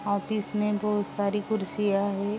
Office में बहोत सारी कुर्सियाँ है ।